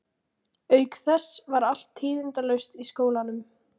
Auk þess var allt tíðindalaust í skólanum.